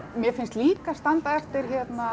mér finnst líka standa eftir